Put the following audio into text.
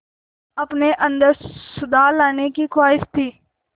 अपने अंदर सुधार लाने की ख़्वाहिश थी